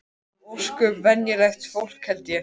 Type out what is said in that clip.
Við erum ósköp venjulegt fólk held ég.